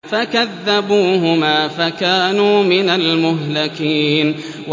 فَكَذَّبُوهُمَا فَكَانُوا مِنَ الْمُهْلَكِينَ